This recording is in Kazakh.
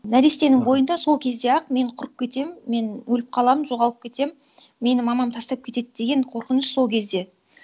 нәрестенің бойында сол кезде ақ мен құрып кетемін мен өліп қаламын жоғалып кетемін мені мамам тастап кетеді деген қорқыныш сол кезде